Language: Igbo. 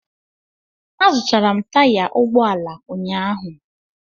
Azụtara m taya ụgbọ ala ụnyaahụ